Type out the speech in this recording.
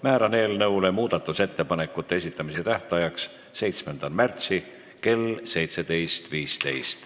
Määran eelnõu muudatusettepanekute esitamise tähtajaks 7. märtsi kell 17.15.